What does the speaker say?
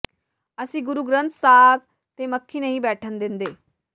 ਅਸੀ ਗੁਰੂ ਗ੍ਰੰਥ ਸਾਹਿਬ ਤੇ ਮੱਖੀ ਨਹੀਂ ਬੈਠਣ ਦਿੰਦੇ